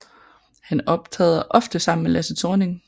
Han optræder ofte sammen med Lasse Thorning